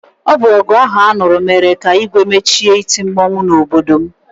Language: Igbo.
Ọ bụ ọgụ ahụ a nụrụ mere ka Igwe mechie iti mmọnwụ n'obodo m.